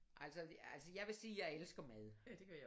Altså altså jeg vil sige jeg elsker mad